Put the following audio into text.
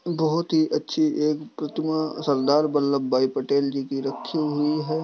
बहोत ही अच्छी एक प्रतिमा सरदार वल्लभभाई पटेल जी की रखी हुई है।